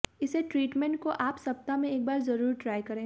इसे ट्रीटमेंट को आप सप्ताह में एक बार जरूर ट्राई करें